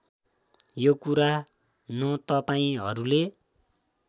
यो कुरा न तपाईँहरूले